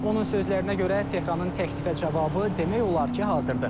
Onun sözlərinə görə Tehranın təklifə cavabı demək olar ki, hazırdır.